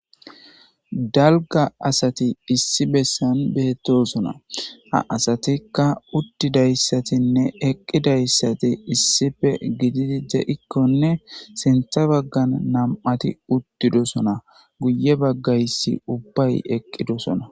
Dalga asat issi besan betosona .ha asatika utidaysatinne eqidaysat gidid de'kone sintha bagan 2ti utidosona guye bagays ubbay eqidosona.